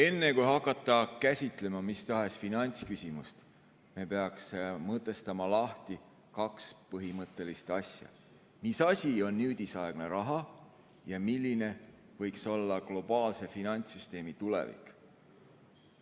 Enne, kui hakata käsitlema mis tahes finantsküsimust, me peaksime mõtestama lahti kaks põhimõttelist asja: mis on nüüdisaegne raha ja milline võiks olla globaalse finantssüsteemi tulevik?